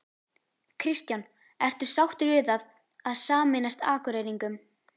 Kristján: Ertu sáttur við það að sameinast Akureyringum?